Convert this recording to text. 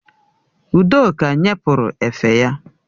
Udoka nye pụrụ efe ya